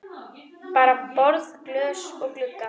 Bara borð, glös og glugga.